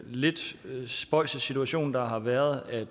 lidt spøjse situation der har været at